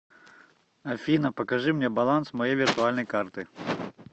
афина покажи мне баланс моей виртуальной карты